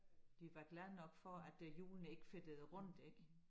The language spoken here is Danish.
Vi var glade nok for at øh hjulene ikke fedtede rundt ik